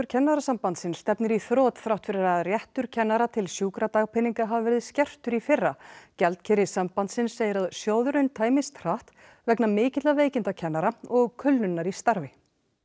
Kennarasambandsins stefnir í þrot þrátt fyrir að réttur kennara til sjúkradagpeninga hafi verið skertur í fyrra gjaldkeri sambandsins segir að sjóðurinn tæmist hratt vegna mikilla veikinda kennara og kulnunar í starfi